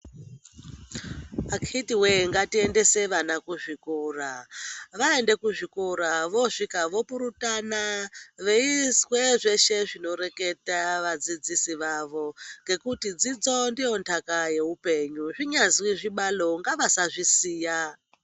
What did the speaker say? Akitiwe, ngatiendese vana kuzvikora. Vaenda kuzvikora vasvika vopurutana veizwe zveshe zvinoreketa vadzidzisi vavo ngekuti dzidzo ndiyo ntaka yeupenyu zvinyazi zvibalo ngavasazvisiya.